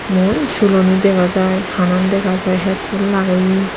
mui suloni dega jay hanan dega jay headphone lageyi.